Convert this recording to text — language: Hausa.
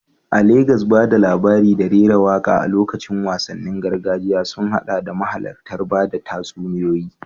A Legas, ba da labari da rera waƙa a lokacin wasannin gargajiya sun haɗa da mahalartar bada tatsuniyoyi